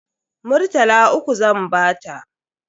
Murtala uku zan bata.